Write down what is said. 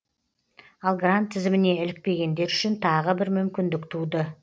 ал грант тізіміне ілікпегендер үшін тағы бір мүмкіндік туды